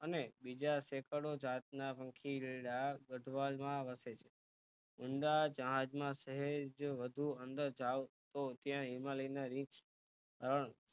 બીજા Sec જાત ના પંખીડા ગઠવાલ માં વસે છે અંદાજ સહેજ જો વધુ અંદર જાવ તો ત્યાં હિમાલય ના રીછ હરણ